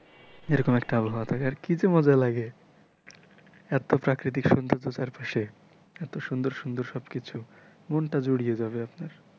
এরকম একটা আবহাওয়া থাকে আর কিযে মজা লাগে, এতো প্রাকৃতিক সুন্দর্জ চারপাশে এতো সুন্দর সুন্দর সবকিছু মনটা জুড়িয়ে যাবে আপনার।